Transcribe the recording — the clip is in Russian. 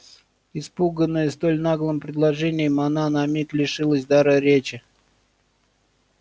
испуганная столь наглым предложением она на миг лишилась дара речи